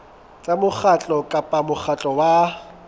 tsa mokgatlo kapa mokgatlo wa